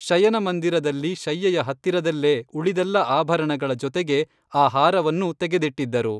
ಶಯನಮಂದಿರದಲ್ಲಿ ಶಯ್ಯೆಯ ಹತ್ತಿರದಲ್ಲೇ ಉಳಿದೆಲ್ಲ ಆಭರಣಗಳ ಜೊತೆಗೆ ಆ ಹಾರವನ್ನೂ ತೆಗೆದಿಟ್ಟಿದ್ದರು